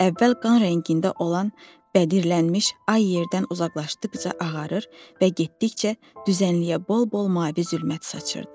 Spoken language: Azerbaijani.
Əvvəl qan rəngində olan bədirlənmiş ay yerdən uzaqlaşdıqca ağarır və getdikcə düzənliyə bol-bol mavi zülmət saçırdı.